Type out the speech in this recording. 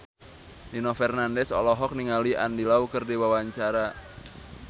Nino Fernandez olohok ningali Andy Lau keur diwawancara